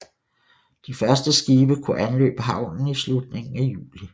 De første skibe kunne anløbe havnen i slutningen af juli